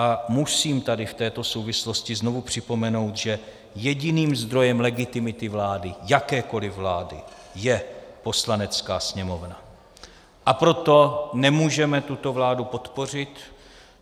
A musím tady v této souvislosti znovu připomenout, že jediným zdrojem legitimity vlády, jakékoli vlády, je Poslanecká sněmovna, a proto nemůžeme tuto vládu podpořit.